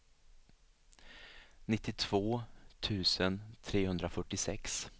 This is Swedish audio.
nittiotvå tusen trehundrafyrtiosex